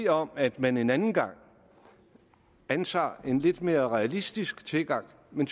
om at man en anden gang antager en lidt mere realistisk tilgang men